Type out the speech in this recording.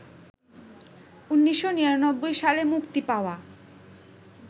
১৯৯৯ সালে মুক্তি পাওয়া